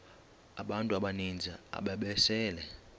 abantu abaninzi ababesele